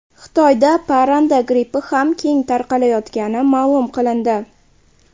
Xitoyda parranda grippi ham keng tarqalayotgani ma’lum qilindi.